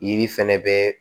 Yiri fɛnɛ bɛ